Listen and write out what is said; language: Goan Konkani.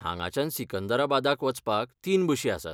हांगाच्यान सिकंदराबादाक वचपाक तीन बशी आसात.